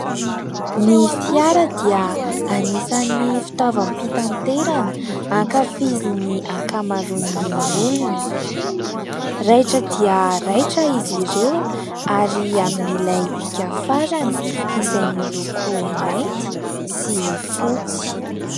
Ny fiara dia anisan'ny fitaovam-pitaterana ankafizin'ny ankamaroan'ny olona. Raitra dia raitra izy ireo, ary amin'ilay hika farany, izay miloko mainty sy fotsy.